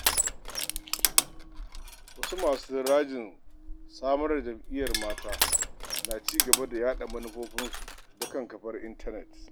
Wasu masu rajin samar da jam'iyyar mata na ci gaba da yaɗa manufofinsu ta kafar intanet.